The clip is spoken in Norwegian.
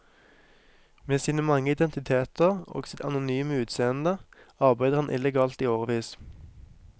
Med sine mange identiteter og sitt anonyme utseende arbeider han illegalt i årevis.